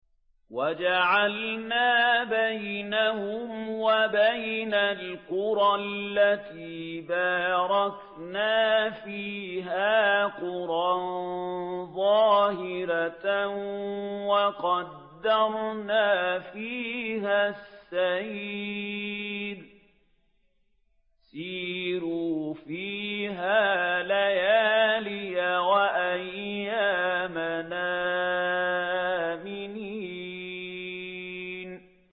وَجَعَلْنَا بَيْنَهُمْ وَبَيْنَ الْقُرَى الَّتِي بَارَكْنَا فِيهَا قُرًى ظَاهِرَةً وَقَدَّرْنَا فِيهَا السَّيْرَ ۖ سِيرُوا فِيهَا لَيَالِيَ وَأَيَّامًا آمِنِينَ